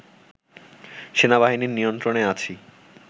সেনাবাহিনীর নিয়ন্ত্রণে আছি